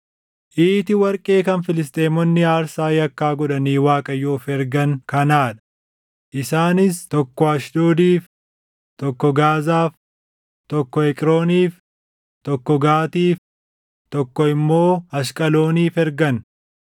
Iiti warqee kan Filisxeemonni aarsaa yakkaa godhanii Waaqayyoof ergan kanaa dha; isaanis tokko Ashdoodiif, tokko Gaazaaf, tokko Eqrooniif, tokko Gaatiif, tokko immoo Ashqalooniif ergan.